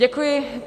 Děkuji.